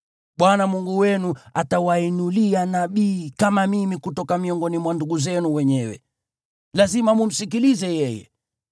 Bwana Mungu wenu atawainulia nabii kama mimi kutoka miongoni mwa ndugu zenu wenyewe. Msikilizeni yeye.